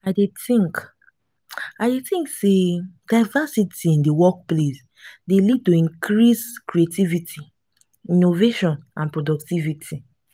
i dey i dey think say diversity in di workplace dey lead to increased creativity innovation and productivity.